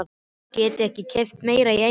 Getiði ekki keypt meira í einu?